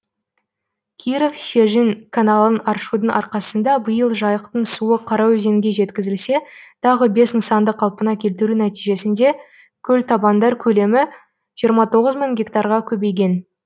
киров шежін каналын аршудың арқасында биыл жайықтың суы қараөзенге жеткізілсе тағы бес нысанды қалпына келтіру нәтижесінде көлтабандар көлемі жиырма тоғыз мың гектарға көбейген